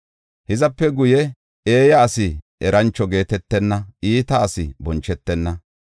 Hizape guye eeyi asi erancho geetetenna; iita asi bonchetenna.